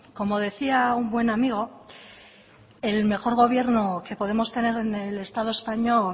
como decía un buen amigo el mejor gobierno que podemos tener en el estado español